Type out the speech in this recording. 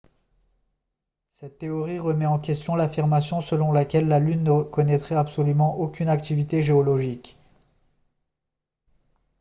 cette théorie remet en question l'affirmation selon laquelle la lune ne connaîtrait absolument aucune activité géologique